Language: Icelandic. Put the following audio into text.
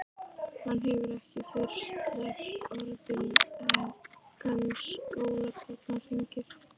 Hann hefur ekki fyrr sleppt orðinu en skólabjallan hringir.